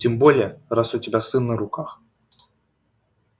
тем более раз у тебя сын на руках